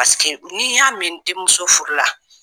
Paseke n'i y'a mɛn n denmuso furu la.